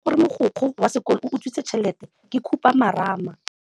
Taba ya gore mogokgo wa sekolo o utswitse tšhelete ke khupamarama.